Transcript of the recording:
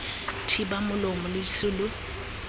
thiba molomo lo ise lo